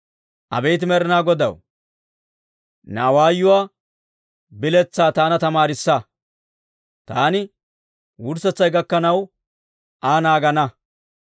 Abeet Med'inaa Godaw, ne awaayuwaa biletsaa taana tamaarissa; taani wurssetsay gakkanaw Aa naagana.